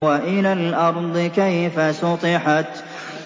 وَإِلَى الْأَرْضِ كَيْفَ سُطِحَتْ